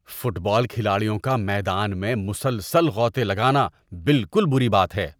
Fit بال کھلاڑیوں کا میدان میں مسلسل غوطے لگانا بالکل بری بات ہے۔